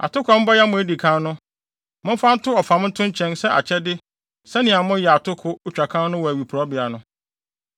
Atoko a mobɛyam a edi kan no, momfa nto ɔfam nto nkyɛn sɛ akyɛde sɛnea moyɛ atoko otwakan no wɔ awiporowbea no.